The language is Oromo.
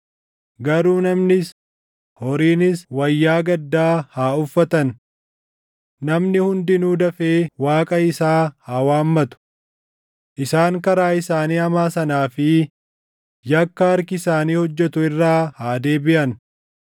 Garuu namnis, horiinis wayyaa gaddaa haa uffatan. Namni hundinuu dafee Waaqa isaa haa waammatu. Isaan karaa isaanii hamaa sanaa fi yakka harki isaanii hojjetu irraa haa deebiʼan.